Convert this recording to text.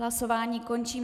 Hlasování končím.